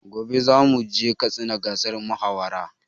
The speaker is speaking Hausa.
Gobe zamu je katsina gasar mahawara